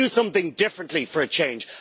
Let's do something differently for a change.